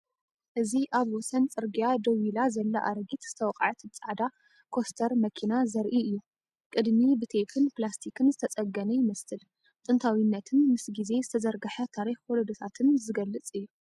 እዚ ኣብ ወሰን ጽርግያ ደው ኢላ ዘላ ኣረጊት ዝተወቅዐት ጻዕዳ ኮስተር መኪና ዘርኢ እዩ። ቅድሚት ብቴፕን ፕላስቲክን ዝተጸገነ ይመስል። ጥንታዊነትን ምስ ግዜ ዝተዘርግሐ ታሪኽ ወለዶታትን ዝገልጽ እዩ።